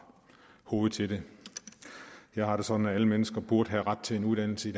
hovedet til det jeg har det sådan at alle mennesker burde have ret til en uddannelse